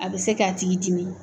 A bɛ se k'a tigi dimi.